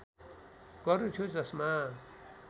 गर्नु थियो जसमा